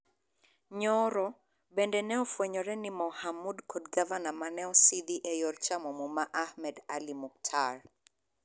Nyoro, bende ne ofwenyore ni Mohamud kod Gavana mane osidhi e yor chamo muma Ahmed Ali Muktar